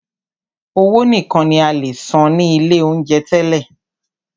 Owó nìkan ní a lè san ní ilé oúnjẹ tẹ́lẹ̀.